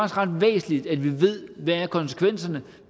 ret væsentligt at vi ved hvad konsekvenserne